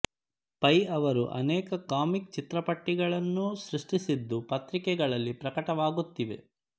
pi ಅವರು ಅನೇಕ comic ಚಿತ್ರಪಟ್ಟಿಗಳನ್ನೂ ಸೃಷ್ಟಿಸಿದ್ದು ಪತ್ರಿಕೆಗಳಲ್ಲಿ ಪ್ರಕಟವಾಗುತ್ತಿವೆ